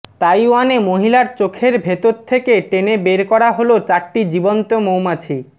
তাইওয়ানে মহিলার চোখের ভেতর থেকে টেনে বের করা হলো চারটি জীবন্ত মৌমাছি